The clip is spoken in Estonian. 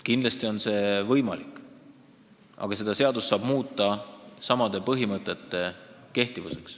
Kindlasti on see võimalik ja seadust saab muuta nii, et samad põhimõtted jäävad kehtima.